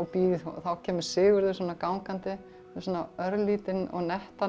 og bíð þá kemur Sigurður gangandi með örlítinn og nettan